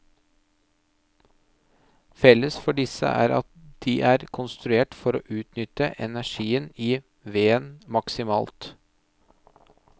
Felles for disse er at de er konstruert for å utnytte energien i veden maksimalt.